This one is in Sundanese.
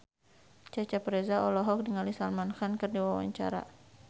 Cecep Reza olohok ningali Salman Khan keur diwawancara